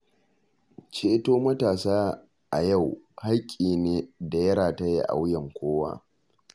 Ceto matasa a yau hakki ne da ya rataya a wuyan kowa.